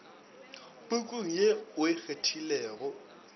pukung ye o e kgethilego